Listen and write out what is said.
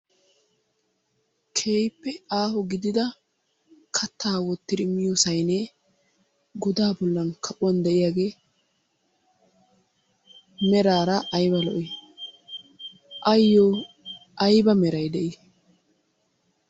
Keehippe aaho gidida kattaa wottidi miyo sayinee godaa bollan kaquwan de'iyagee meraara ayiba lo'i! Ayyoo ayiba meray de'i?